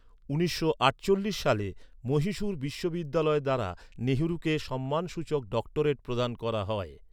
উনিশশো আটচল্লিশ সালে মহীশূর বিশ্ববিদ্যালয় দ্বারা নেহেরুকে সম্মানসূচক ডক্টরেট প্রদান করা হয়।